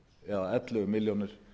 eða ellefu milljónir